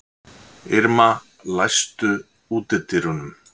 Irma, læstu útidyrunum.